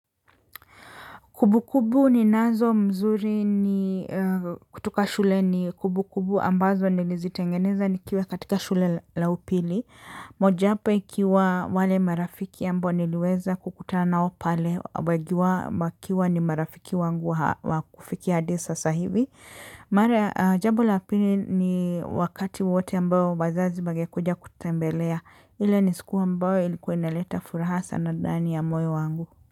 Kumbu kumbu ninazo mzuri ni kutoka shule ni kumbu kumbu ambazo nilizitengeneza nikiwa katika shule la upili. Mojayapo ikiwa wale marafiki ambao niliweza kukutana nao pale wengi wao wakiwa ni marafiki wangu wa kufikia hadi sasa hivi. Jambo la pili ni wakati wowote ambao wazazi wangekuja kututembelea. Ile ni siku ambayo ilikuwa inaleta furaha sana ndani ya moyo wangu.